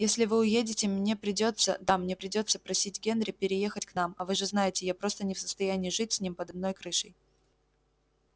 если вы уедете мне придётся да мне придётся просить генри переехать к нам а вы же знаете я просто не в состоянии жить с ним под одной крышей